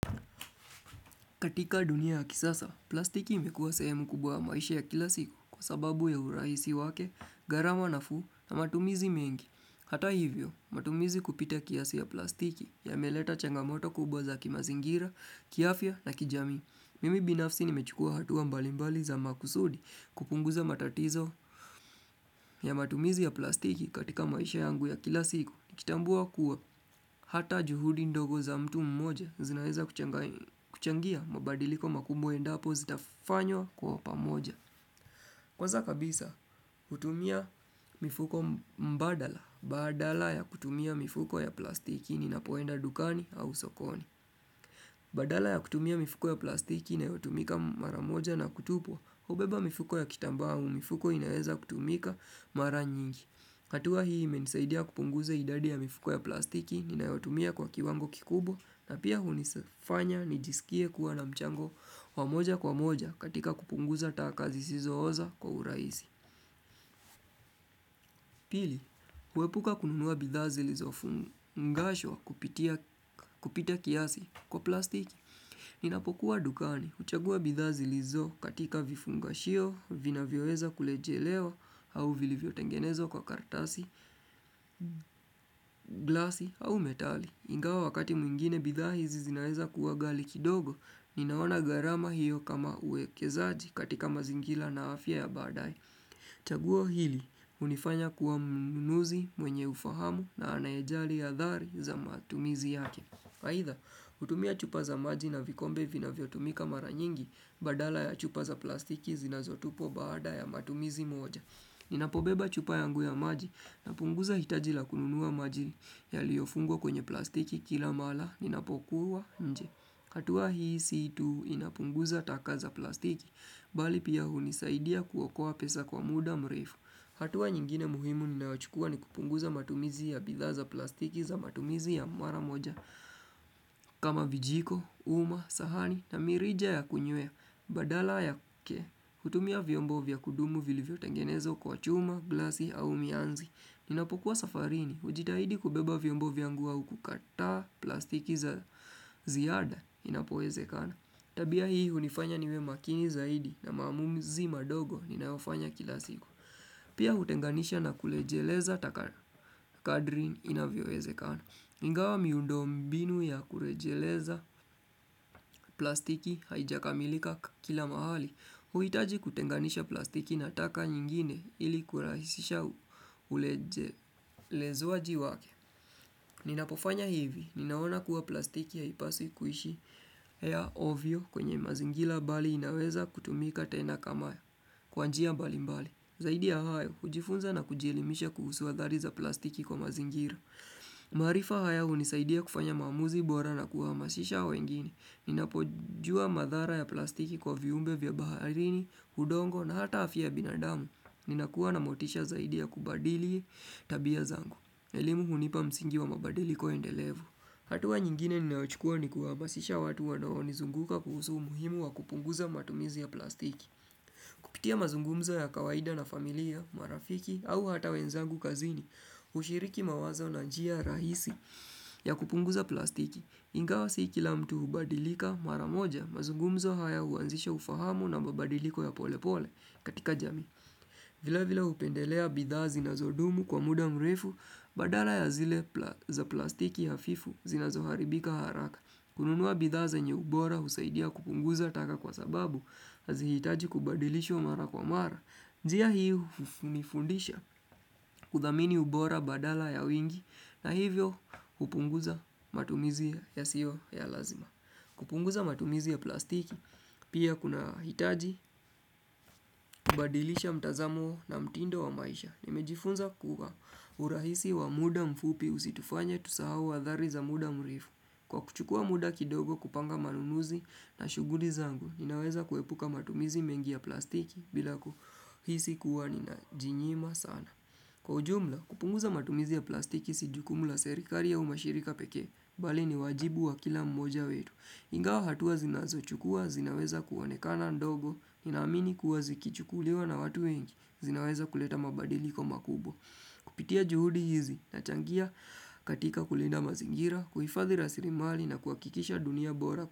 Katika dunia ya kisasa, plastiki imekuwa sehemu kubwa ya maisha ya kila siku kwa sababu ya urahisi wake, gharama nafuu na matumizi mengi. Hata hivyo, matumizi kupita kiasi ya plastiki yameleta changamoto kubwa za kimazingira, kiafia na kijami. Mimi binafsi nimechukua hatuwa mbalimbali za makusudi kupunguza matatizo ya matumizi ya plastiki katika maisha yangu ya kila siku. Kitambua kuwa hata juhudi ndogo za mtu mmoja zinaeza kuchangia mabadiliko makumbwa endapo zitafanywa kwa upamoja Kwanza kabisa hutumia mifuko mbadala Badala ya kutumia mifuko ya plastiki ninapoenda dukani au sokoni Badala ya kutumia mifuko ya plastik inayotumika mara moja na kutupwa Ubeba mifuko ya kitambaa hau mifuko inaeza kutumika mara nyingi hatua hii imenisaidia kupunguza idadi ya mifuko ya plastiki, ninayotumia kwa kiwango kikubwa na pia hunifanya nijisikie kuwa na mchango wa moja kwa moja katika kupunguza taka zisizo oza kwa uraisi. Pili, uepuka kununua bidhaa zilizo fungashwa kupita kiasi kwa plastiki. Ninapokuwa dukani, huchagua bidhaa zilizo katika vifungashio, vinavyoweza kulejelewa, au vilivyotengenezwa kwa karatasi, glasi, au metali. Ingawa wakati mwingine bidhazi zinaeza kuwa gali kidogo, ninaona gharama hiyo kama uekezaji katika mazingila na afya ya badae. Chaguo hili hunifanya kuwa mnunuzi mwenye ufahamu na anayejali hadhari za matumizi yake Haidha hutumia chupa za maji na vikombe vinavyo tumika mara nyingi badala ya chupa za plastiki zinazotupwa baada ya matumizi moja Ninapobeba chupa yangu ya maji napunguza hitaji la kununua maji yaliofungwa kwenye plastiki kila mala ninapokuwa nje hatua hii si tu inapunguza taka za plastiki, bali pia hunisaidia kuokoa pesa kwa muda mreifu. Hatua nyingine muhimu ninaochukua ni kupunguza matumizi ya bidhaa za plastiki za matumizi ya mara moja. Kama vijiko, uma, sahani na mirija ya kunywea Badala yake, hutumia vyombo vya kudumu vilivyotengenezwa kwa chuma, glasi au mianzi Ninapokuwa safarini, ujitahidi kubeba vyombo vyangu au kukata plastiki za ziyada inapoezekana Tabia hii unifanya niwe makini zaidi na maamuzi madogo ninaofanya kila siku Pia hutenganisha na kulejeleza taka kadri inavyoezekana Ingawa miundombinu ya kurejeleza plastiki haijakamilika kila mahali, huitaji kutenganisha plastiki na taka nyingine ili kurahisisha ulezoaji wake. Ninapofanya hivi, ninaona kuwa plastiki haipasi kuishi ya ovyo kwenye mazingila bali inaweza kutumika tena kama, kwa njia mbalimbali. Zaidi ya hayo, hujifunza na kujielimisha kuhusu hadhari za plastiki kwa mazingira. Maarifa haya hunisaidia kufanya maamuzi bora na kuhamasisha wengine. Ninapojua madhara ya plastiki kwa viumbe vya baharini, hudongo na hata hafi ya binadamu. Ninakuwa na motisha zaidi ya kubadili tabia zangu. Elimu hunipa msingi wa mabadiliko endelevu. Hatuwa nyingine ninaochukua ni kuhamasisha watu wa wanaonizunguka kuhusu umuhimu wa kupunguza matumizi ya plastiki. Kupitia mazungumzo ya kawaida na familia, marafiki au hata wenzangu kazini hushiriki mawazo na njia rahisi ya kupunguza plastiki Ingawa si kila mtu hubadilika mara moja mazungumzo haya huanzisha ufahamu na mabadiliko ya pole pole katika jami vile vile hupendelea bidhaa zinazo dumu kwa muda mrefu badala ya zile za plastiki hafifu zinazoharibika haraka kununua bidhaa zenye ubora husaidia kupunguza taka kwa sababu hazihitaji kubadilishwa mara kwa mara. Njia hii hunifundisha kudhamini ubora badala ya wingi na hivyo kupunguza matumizi yasio ya lazima. Kupunguza matumizi ya plastiki pia kuna hitaji kubadilisha mtazamo na mtindo wa maisha. Nimejifunza kuwa urahisi wa muda mfupi usitufanye tusahau hadhari za muda mrefu. Kwa kuchukua muda kidogo kupanga manunuzi na shuguli zangu, ninaweza kuepuka matumizi mengi ya plastiki bila kuhisi kuwa ninajinyima sana. Kwa ujumla, kupunguza matumizi ya plastiki si jukumu la serikari au mashirika pekee, bali ni wajibu wa kila mmoja wetu. Ingawa hatuwa zinazochukua, zinaweza kuonekana ndogo, nina amini kuwa zikichukuliwa na watu wengi, zinaweza kuleta mabadiliko makubwa. Kupitia juhudi hizi, nachangia katika kulinda mazingira, kuifadhi rasirimali na kuhakikisha dunia bora.